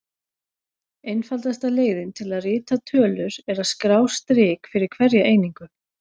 Einfaldasta leiðin til að rita tölur er að skrá strik fyrir hverja einingu.